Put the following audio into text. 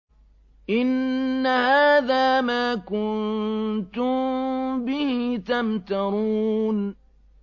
إِنَّ هَٰذَا مَا كُنتُم بِهِ تَمْتَرُونَ